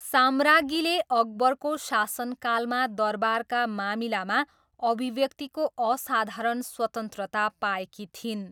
साम्राज्ञीले अकबरको शासनकालमा दरबारका मामिलामा अभिव्यक्तिको असाधारण स्वतन्त्रता पाएकी थिइन्।